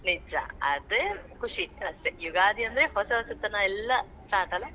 ನಿಜಾ, ಅದೇ ಖುಷಿ ಅಷ್ಟೇ. ಯುಗಾದಿ ಅಂದ್ರೆ ಹೊಸ ಹೊಸತನಾ ಎಲ್ಲಾ start ಅಲ್ಲಾ.